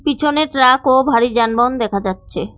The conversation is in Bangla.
পিছনে ট্রাক ও ভারী যানবাহন দেখা যাচ্ছে।